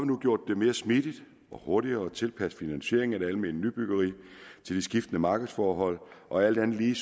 nu gjort det mere smidigt og hurtigere at tilpasse finansieringen af det almene nybyggeri til de skiftende markedsforhold og alt andet lige